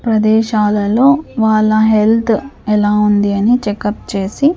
ప్రదేశాలలో వాళ్ళ హెల్త్ ఎలా ఉంది అని చెక్ అప్ చేసి--